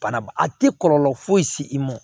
Bana a tɛ kɔlɔlɔ foyi se i ma